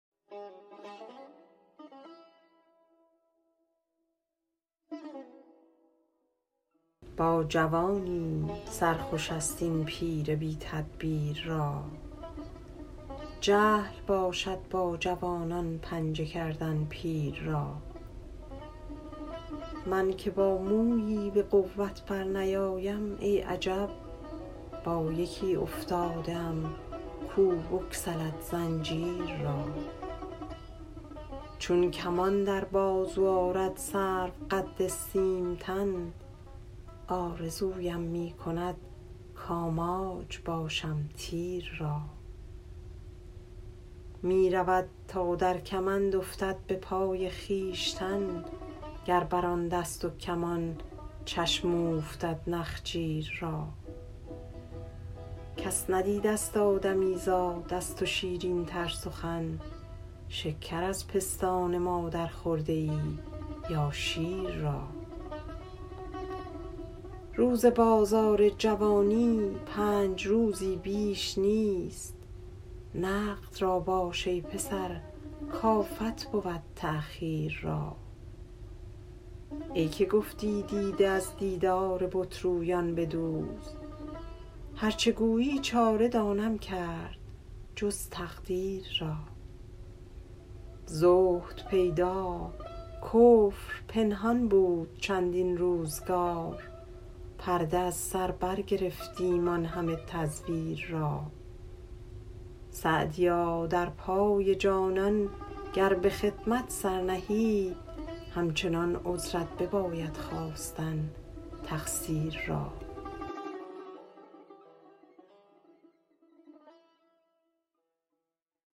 با جوانی سر خوش است این پیر بی تدبیر را جهل باشد با جوانان پنجه کردن پیر را من که با مویی به قوت برنیایم ای عجب با یکی افتاده ام کو بگسلد زنجیر را چون کمان در بازو آرد سروقد سیم تن آرزویم می کند کآماج باشم تیر را می رود تا در کمند افتد به پای خویشتن گر بر آن دست و کمان چشم اوفتد نخجیر را کس ندیدست آدمیزاد از تو شیرین تر سخن شکر از پستان مادر خورده ای یا شیر را روز بازار جوانی پنج روزی بیش نیست نقد را باش ای پسر کآفت بود تأخیر را ای که گفتی دیده از دیدار بت رویان بدوز هر چه گویی چاره دانم کرد جز تقدیر را زهد پیدا کفر پنهان بود چندین روزگار پرده از سر برگرفتیم آن همه تزویر را سعدیا در پای جانان گر به خدمت سر نهی همچنان عذرت بباید خواستن تقصیر را